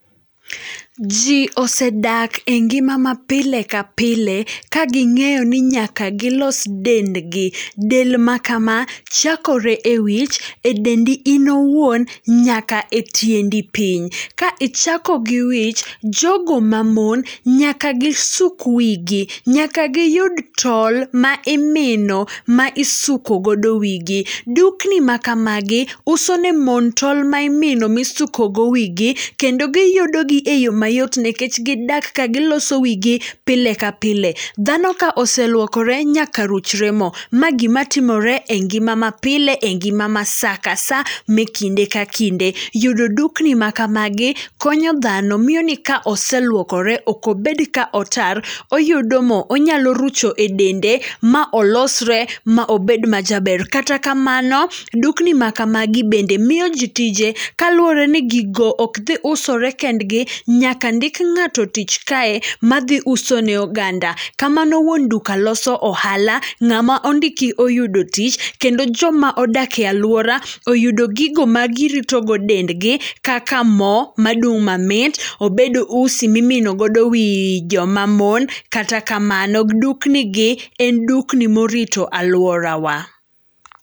Ji osedak e ngima mapile ka pile ka ging'eyo ni nyaka gilos dendgi. Del ma kama, chakore e wich, e dendi in owuon nyaka e tiendi piny. Ka ichako gi wich, jogo mamon, nyaka gisuk wi gi, nyaka giyud tol ma imino ma isuko godo wi gi. Dukni ma kamagi uso ne mon tol ma imino ma isuko godo wigi kendo giyudo gi e yo mayot nikech gidak ka giloso wi gi pile ka pile. Dhano ka oseluokore nyaka ruchore mo, ma gima timore e ngima ma pile, e ngima ma sa ka sa, e kinde ka kinde. Yudo dukni makamagi konyo dhano miyo ni ka oseluokore ok obed ka otar, oyudo mo. Onyalo rucho e dende ma olosre ma obed majaber. Kata kamano, dukni makagi bende miyo ji tije. Kaluwore ni gigo ok dhi usore kendgi, nyaka ndik ng'ato tich kae ma dhi uso ne oganda. Kamano wuon duka loso ohala, ngama ondiki oyudo tich, kendo joma odak e alwora oyudo gigo ma girito go dendgi, kaka mo madung mamit, obed usi ma imino godo wi joma mon. Kata kamano dukni gi en dukni ma orito alworawa.